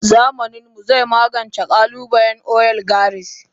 Zamaninmu zai magance kalubalen oligarchy.